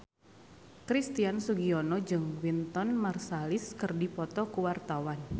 Christian Sugiono jeung Wynton Marsalis keur dipoto ku wartawan